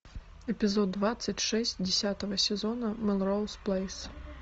эпизод двадцать шесть десятого сезона мелроуз плейс